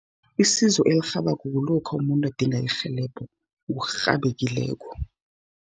Isizo elirhabako, kulokha umuntu adinga irhelebho ngokurhabekileko.